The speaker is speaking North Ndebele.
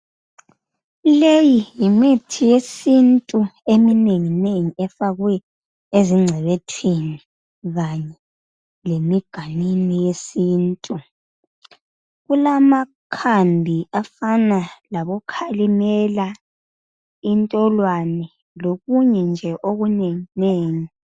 Leyi yimithi yesintu eminenginengi efakwe ezingcebethwini zayo lemiganwini yesintu. Kulamakhambi afana labokhalimela intolwane lokunye nje okunenginengi.